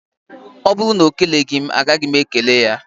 Ọ bụrụ na ọ keleghi m, a gaghị m e kele ya.